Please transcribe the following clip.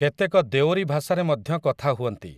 କେତେକ ଦେଓରୀ ଭାଷାରେ ମଧ୍ୟ କଥା ହୁଅନ୍ତି ।